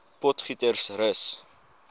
potgietersrus